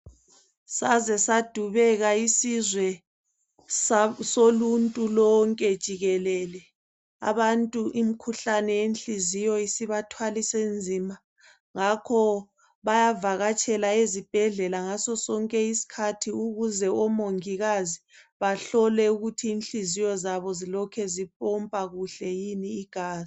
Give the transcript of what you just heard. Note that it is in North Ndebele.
Saze sadubeia isizwe soluntu lonke jikelele. Abantu imikhuhlane yenhliziyo isibathwalise nzima. Ngakho bayavakatshela ezibhedlela, ngaso sonke isikhathi ukuze omongikazi, bahlole ukuthi ,inhliziyo zabo, zilokhe zipompa kuhle yini igazi,